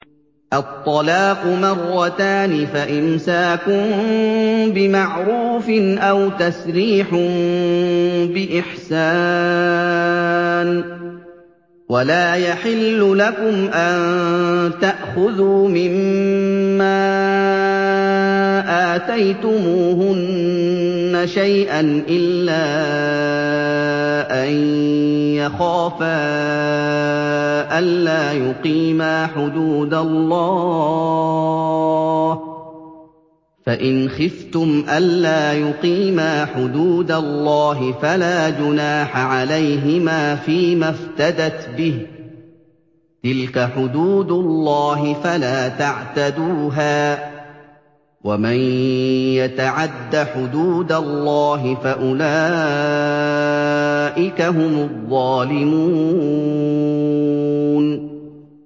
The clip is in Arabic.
الطَّلَاقُ مَرَّتَانِ ۖ فَإِمْسَاكٌ بِمَعْرُوفٍ أَوْ تَسْرِيحٌ بِإِحْسَانٍ ۗ وَلَا يَحِلُّ لَكُمْ أَن تَأْخُذُوا مِمَّا آتَيْتُمُوهُنَّ شَيْئًا إِلَّا أَن يَخَافَا أَلَّا يُقِيمَا حُدُودَ اللَّهِ ۖ فَإِنْ خِفْتُمْ أَلَّا يُقِيمَا حُدُودَ اللَّهِ فَلَا جُنَاحَ عَلَيْهِمَا فِيمَا افْتَدَتْ بِهِ ۗ تِلْكَ حُدُودُ اللَّهِ فَلَا تَعْتَدُوهَا ۚ وَمَن يَتَعَدَّ حُدُودَ اللَّهِ فَأُولَٰئِكَ هُمُ الظَّالِمُونَ